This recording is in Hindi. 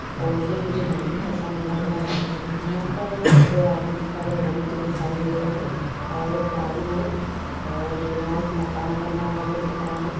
--और ये मुझे नाईट का समय लग रहा है यहा पर दो आदमी खड़े हुए मुझे दिखाई दे रहे है और एक गाडी है और यहाँ एक मकान बना हुआ है वो दिख रहा है।